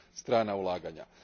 strana ulaganja.